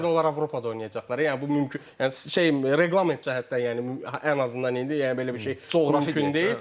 Nə qədər onlar Avropada oynayacaqlar, yəni bu mümkün, yəni şey reqlement cəhətdən, yəni ən azından indi, yəni belə bir şey mümkün deyil.